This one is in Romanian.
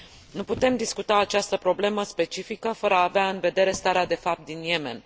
Nu putem discuta această problemă specifică fără a avea în vedere starea de fapt din Yemen.